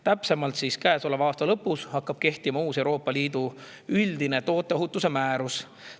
Täpsemalt, käesoleva aasta lõpus hakkab kehtima uus Euroopa Liidu üldine tooteohutuse määrus.